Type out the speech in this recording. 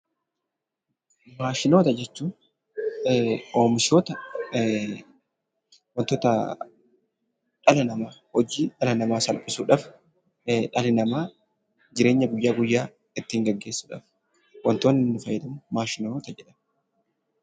Maashinoota jechuun; oomishoota wantoota dhala nama hojii dhala nama salphisuudhaaf dhalli nama jireenyaa guyyaa guyyaa ittin geggeessudhaaf wantooni inni faayyadamuu maashinoota jedhamu.